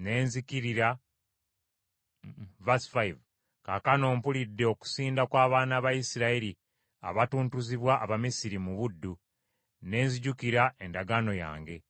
Kaakano mpulidde okusinda kw’abaana ba Isirayiri abatuntuzibwa Abamisiri mu buddu, ne nzijukira endagaano yange.